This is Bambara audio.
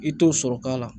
I t'o sɔrɔ k'a la